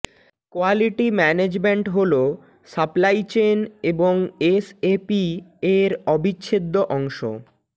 quality management হল supply chain এবং SAP এর অবিচ্ছেদ্য অংশ